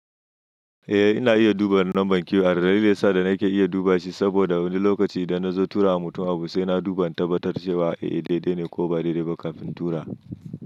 Eh ina iya duba lambar kiwo. Dalilin sa da nake iya duba shi saboda wani lokaci idan na zo tura wa mutum abu sai na duba tabbatar cewa eh dai dai ne ko ba dai dai ba kafin in tura.